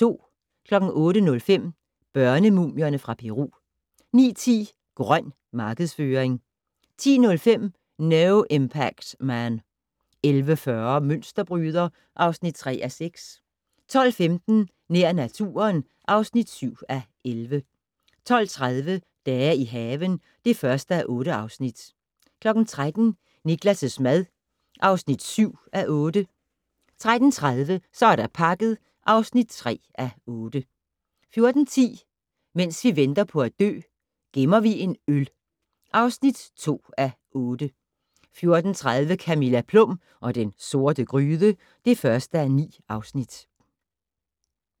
08:05: Børnemumierne fra Peru 09:10: "Grøn" markedsføring 10:05: No Impact Man 11:40: Mønsterbryder (3:6) 12:15: Nær naturen (7:11) 12:30: Dage i haven (1:8) 13:00: Niklas' mad (7:8) 13:30: Så er der pakket (3:8) 14:10: Mens vi venter på at dø - Gemmer vi en øl (2:8) 14:30: Camilla Plum og den sorte gryde (1:9)